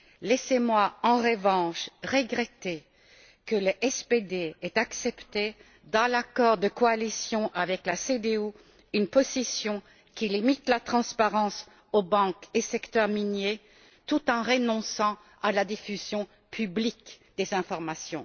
Laissez moi, en revanche, regretter que le SPD ait accepté, dans l'accord de coalition avec la CDU, une position qui limite la transparence aux banques et au secteur minier, tout en renonçant à la diffusion publique des informations.